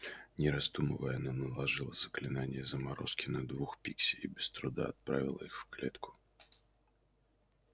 не раздумывая она наложила заклинание заморозки на двух пикси и без труда отправила их в клетку